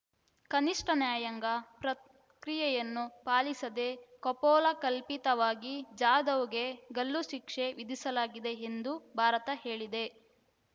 ಕನಿಷ್ಠ ನ್ಯಾಯಾಂಗ ಪ್ರಕ್ರಿಯೆಯನ್ನು ಪಾಲಿಸದೇ ಕಪೋಲಕಲ್ಪಿತವಾಗಿ ಜಾಧವ್‌ಗೆ ಗಲ್ಲು ಶಿಕ್ಷೆ ವಿಧಿಸಲಾಗಿದೆ ಎಂದು ಭಾರತ ಹೇಳಿದೆ